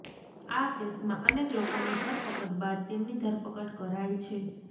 આ કેસમાં અનેક લોકોની ધરપકડ બાદ તેમની ધરપકડ કરાઇ છે